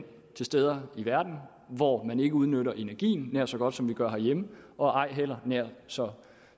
steder i verden hvor man ikke udnytter energien nær så godt som vi gør herhjemme og ej heller nær så